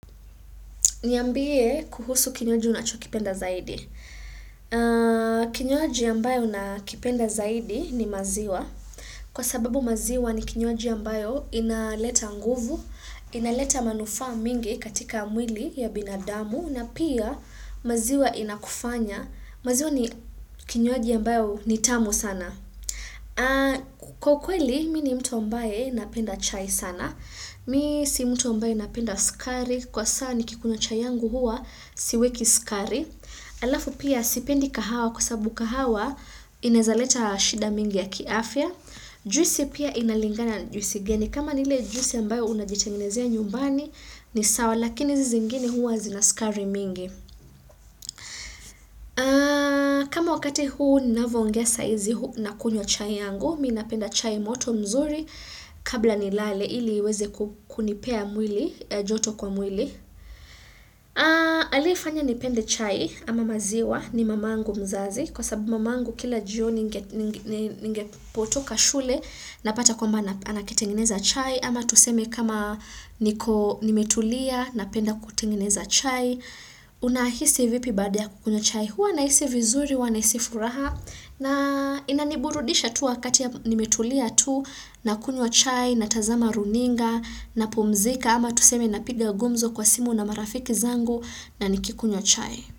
Niambie kuhusu kinywaji unachokipenda zaidi. Kinywaji ambayo nakipenda zaidi ni maziwa. Kwa sababu maziwa ni kinywaji ambayo inaleta nguvu, inaleta manufaa mingi katika mwili ya binadamu, na pia maziwa inakufanya. Maziwa ni kinywaji ambayo ni tamu sana Kwa kweli, mimi ni mtu mbae napenda chai sana Mimi si mtu mbae napenda sukari Kwa saa nikikunywa chai yangu huwa siweki sukari Alafu pia sipendi kahawa kwa sababu kahawa Ineweza leta shida mingi ya kiafya Juisi pia inalingana juisi gani kama ni ile juisi ambayo unajitengenezea nyumbani ni sawa, lakini hizi zingine huwa zina sukari mingi kama wakati huu ninavyo ongea sahizi na kunywa chai yangu mimi napenda chai moto nzuri kabla ni lale ili iweze kunipea mwili joto kwa mwili aliyefanya nipende chai ama maziwa ni mama yangu mzazi kwa sababu mama yangu kila jioni ningepotoka shule napata kwamba anakitengeneza chai ama tuseme kama niko nimetulia napenda kutengeneza chai unahisi vipi baada ya kukunywa chai, huwa nahisi vizuri huwa nahisi furaha na inaniburudisha tu wakati nimetulia tu na kunywa chai natazama runinga na pumzika ama tuseme na piga gumzo kwa simu na marafiki zangu na nikikunywa chai.